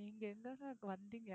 நீங்க எங்கங்க இங்க வந்தீங்க